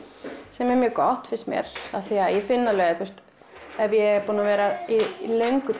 sem er mjög gott finnst mér af því að ég finn alveg að ef ég er búin að vera í löngu